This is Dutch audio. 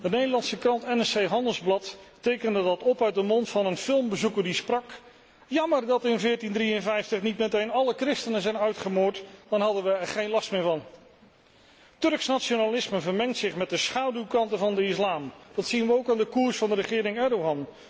De Nederlandse krant NCR Handelsblad tekende dat op uit de mond van een filmbezoeker die sprak Jammer dat in 1453 niet meteen alle christenen zijn uitgemoord, dan hadden we er nu geen last meer van. Turks nationalisme vermengt zich met de schaduwkanten van de islam. Dat zien we ook aan de koers van de regering Erdoğan.